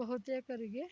ಬಹುತೇಕರಿಗೆ